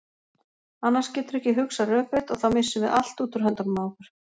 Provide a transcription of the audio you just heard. Annars geturðu ekki hugsað rökrétt og þá missum við allt út úr höndunum á okkur.